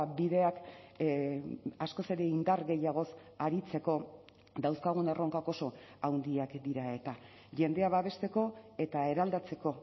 bideak askoz ere indar gehiagoz aritzeko dauzkagun erronkak oso handiak dira eta jendea babesteko eta eraldatzeko